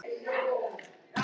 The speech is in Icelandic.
Henni stendur á sama um það.